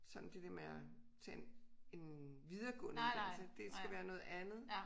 Sådan det dér med at tage en en videregående uddannelse det skal være noget andet